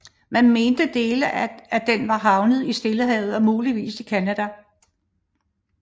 Man mente dele af den var havnet i Stillehavet og muligvis i Canada